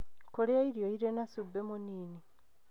Kũria irio irĩ na cumbĩ mũnini,